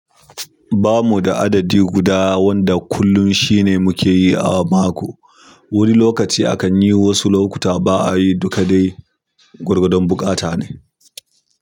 Bamu da adadi guda wanda kullum shi ne muke yi a mako. Wani lokaci akan yi, wasu lokuta ba a yi dukka dai. Gwargwadon buƙata ne.